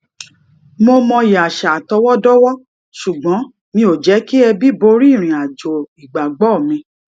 mo mọyì àṣà àtọwọdọwọ ṣùgbọn mi ò jẹ kí ẹbi borí ìrìn àjò ìgbàgbọ mi